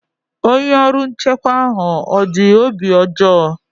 Onye ọrụ nchekwa ahụ ọ dị obi ọjọọ?